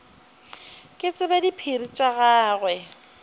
ke tsebe diphiri tša gagwe